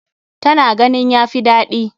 Ta na ganin ya fi daɗi.